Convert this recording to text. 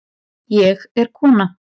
Ég er kona